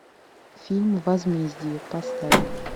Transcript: фильм возмездие поставь